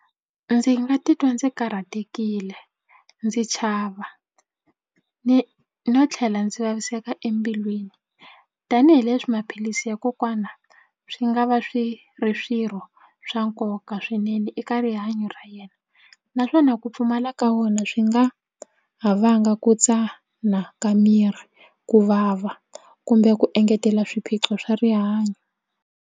Ndzi nga titwa ndzi karhatekile ndzi chava ni no tlhela ndzi vaviseka embilwini tanihileswi maphilisi ya kokwana swi nga va swi ri swirho swa nkoka swinene eka rihanyo ra yena naswona ku pfumala ka wona swi nga ha vanga ku tsana ka miri ku vava kumbe ku engetela swiphiqo swa rihanyo.